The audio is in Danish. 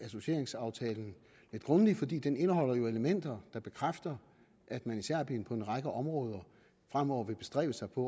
associeringsaftalen lidt grundigt fordi den indeholder elementer der bekræfter at man i serbien på en række områder fremover vil bestræbe sig på